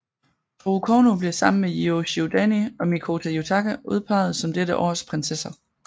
Toru Kouno bliver sammen med Yujiro Shihodani og Mikoto Yutaka udpeget som dette års prinsesser